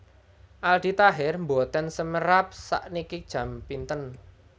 Aldi Taher mboten semerap sakniki jam pinten